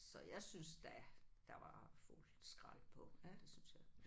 Så jeg syntes da der var fuld skrald på det syntes jeg